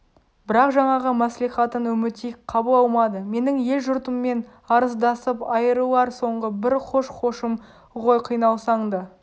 бірақ жаңағы мәслихатын үмітей қабыл алмады менің ел-жұртыммен арыздасып айрылар соңғы бір хош-хошым ғой қиналсаң да